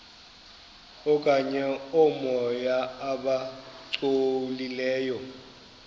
okanye oomoya abangcolileyo